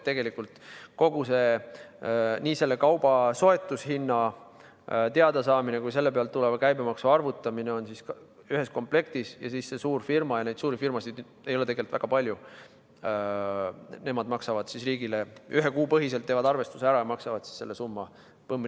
Tegelikult on nii selle kauba soetushinna teadasaamine kui ka selle pealt tuleva käibemaksu arvutamine ühes komplektis ja siis need suurfirmad – neid ei ole tegelikult väga palju – ühe kuu põhiselt teevad arvestuse ära ja maksavad selle summa põmm!